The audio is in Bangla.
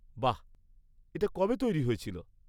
-বাহ! এটা কবে তৈরি হয়েছিল?